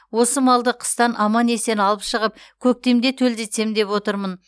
осы малды қыстан аман есен алып шығып көктемде төлдетсем деп отырмын